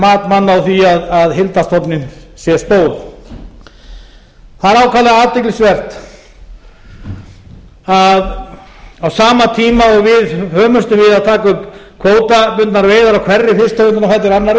mat manna á því að heildarstofninn sé stór það er ákaflega athyglisvert að á sama tíma og við hömumst við að taka upp kvótabundnar veiðar á hverri fisktegundinni á